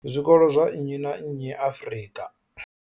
zwikolo zwa nnyi na nnyi Afrika.